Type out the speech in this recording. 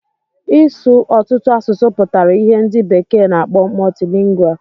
Ị su ọtụtụ asụsụ pụtara ìhè ndị bekee na-akpọ multilingual.